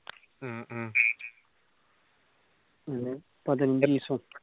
ഉം ഉം പിന്നെ ദിവസവും